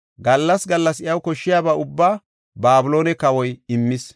Gallas gallas iyaw koshshiyaba ubbaa Babiloone kawoy immis.